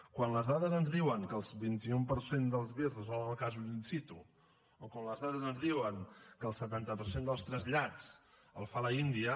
quan les dades ens diuen que el vint un per cent dels vir resolen els casos in situ o quan les dades ens diuen que el setanta per cent dels trasllats el fa l’india